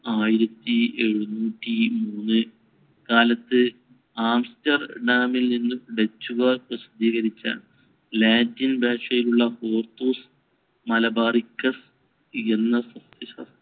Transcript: ആയിരത്തി ഏഴുനൂറ്റിമൂന്ന് കാലത്ത് ആംസ്റ്റർഡാമിൽ നിന്ന് ഡച്ചുകാർ പ്രസിദ്ധീകരിച്ച ലാറ്റിൻ ഭാഷയിലുള്ള ഹോർത്തൂസ് മലബാറിക്കസ് എന്ന സസ്യ~